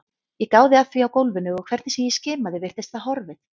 Ég gáði að því á gólfinu og hvernig sem ég skimaði virtist það horfið.